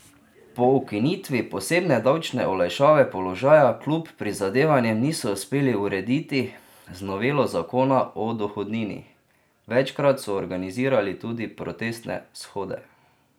Po ukinitvi posebne davčne olajšave položaja kljub prizadevanjem niso uspeli urediti z novelo zakona o dohodnini, večkrat so organizirali tudi protestne shode.